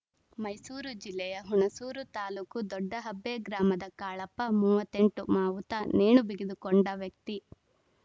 ಮೈಸೂರು ಜಿಲ್ಲೆಯ ಹುಣಸೂರು ತಾಲೂಕು ದೊಡ್ಡಹಬ್ಬೆ ಗ್ರಾಮದ ಕಾಳಪ್ಪ ಮೂವತ್ತ್ ಎಂಟು ಮಾವುತ ನೇಣು ಬಿಗಿದುಕೊಂಡ ವ್ಯಕ್ತಿ